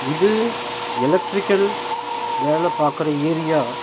இது எலக்ட்ரிக்கல் வேல பாக்குற ஏரியா .